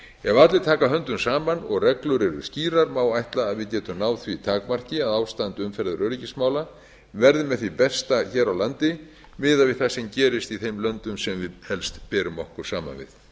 ef allir taka höndum saman og reglur eru skýrar má ætla að við getum náð því takmarki að ástand umferðaröryggismála verði með því besta hér á landi miðað við sem gerist í þeim löndum sem við helst berum okkur saman við